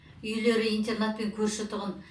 үйлері интернатпен көрші тұғын